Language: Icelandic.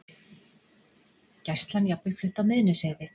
Gæslan jafnvel flutt á Miðnesheiði